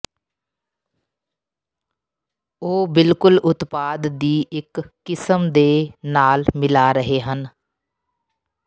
ਉਹ ਬਿਲਕੁਲ ਉਤਪਾਦ ਦੀ ਇੱਕ ਕਿਸਮ ਦੇ ਨਾਲ ਮਿਲਾ ਰਹੇ ਹਨ